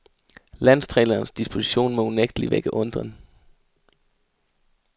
Landstrænerens disposition må unægtelig vække undren.